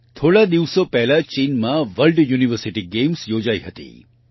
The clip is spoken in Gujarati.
થોડા દિવસો પહેલા ચીનમાં વર્લ્ડ યુનિવર્સિટી ગેમ્સ યોજાઈ હતી